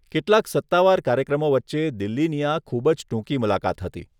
કેટલાક સત્તાવાર કાર્યક્રમો વચ્ચે દિલ્હીની આ ખૂબ જ ટૂંકી મુલાકાત હતી.